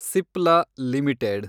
Cipla limited